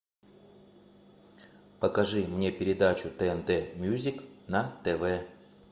покажи мне передачу тнт мьюзик на тв